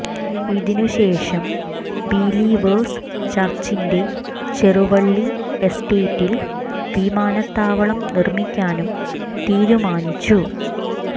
ഇതിന് ശേഷം ബിലീവേഴ്സ് ചർച്ചിന്റെ ചെറുവള്ളി എസ്റ്റേറ്റിൽ വിമാനത്താവളം നിർമ്മിക്കാനും തീരുമാനിച്ചു